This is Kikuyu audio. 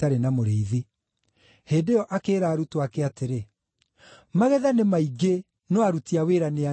Hĩndĩ ĩyo akĩĩra arutwo ake atĩrĩ, “Magetha nĩ maingĩ, no aruti a wĩra nĩ anini.